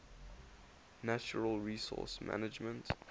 natural resource management